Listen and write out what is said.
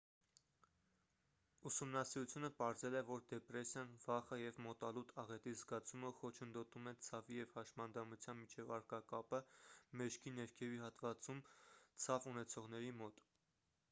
ուսումնասիրությունը պարզել է որ դեպրեսիան վախը և մոտալուտ աղետի զգացումը խոչընդոտում են ցավի և հաշմանդամության միջև առկա կապը մեջքի ներքևի հատվածում ցավ ունեցողների մոտ